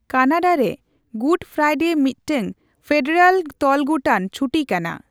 ᱠᱟᱱᱟᱰᱟᱨᱮ, Good Friday ᱢᱤᱫᱴᱟᱝ federal ᱛᱚᱞᱜᱩᱴᱟᱱ ᱪᱷᱩᱴᱤ ᱠᱟᱱᱟ ᱾